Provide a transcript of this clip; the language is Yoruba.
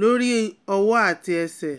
lori ọwọ ati ẹsẹ